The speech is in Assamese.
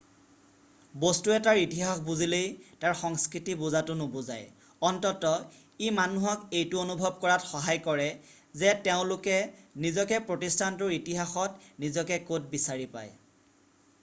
বস্তু এটাৰ ইতিহাস বুজিলেই তাৰ সংস্কৃতি বুজাটো নুবুজায় অন্ততঃ ই মানুহক এইটো অনুভৱ কৰাত সহায় কৰে যে তেওঁলোকে নিজকে প্ৰতিষ্ঠানটোৰ ইতিহাসত নিজকে ক'ত বিচাৰি পায়